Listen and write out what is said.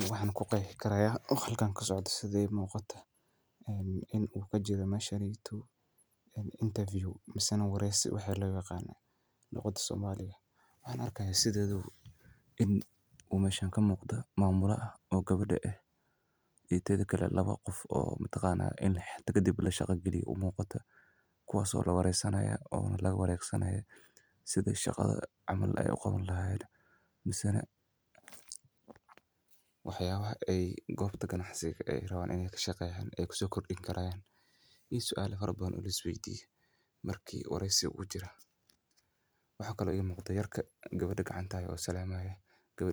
Waxan ku qeexi karaa sida ii muuqato in uu kajiro meeshan wareysi waxaan arkaa in meesha aay ka muuqato gabar oo mamula ah iyo laba qof oo hada kadib la shaqa gelin rabo oo latusaayo sida loo sameeyo waxaa ii muuqata in ninka gabada uu salamayo oo